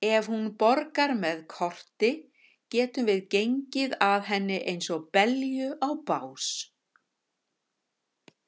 Ef hún borgaði með korti getum við gengið að henni eins og belju á bás.